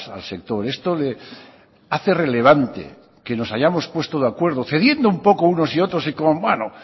al sector esto hace relevante que nos hayamos puesto de acuerdo cediendo un poco unos y otros